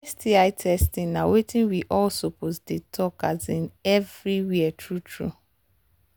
sti testing na watin we all suppose they talk um everywhere true true